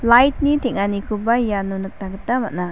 light-ni teng·anikoba iano nikna gita man·a.